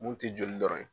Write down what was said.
Mun tɛ joli dɔrɔn ye